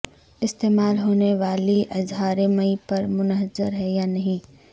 استعمال ہونے والی اظہار مئی پر منحصر ہے یا نہیں